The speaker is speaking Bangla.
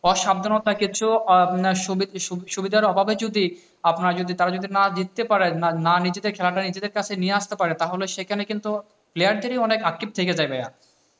অসাবধানতা কিছু সুবিধার অভাবে যদি আপনার তারা যদি, তারা যদি জিতে পারে, না নিজেদের খেলাটা না নিজেদের কাছে নিয়ে আসতে না তাহলে সেখানে কিন্তু player দেরই অনেক আক্ষেপ থেকে থাকে।